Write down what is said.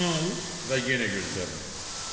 və yenə gözlərini yumdu.